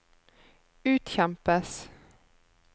utkjempes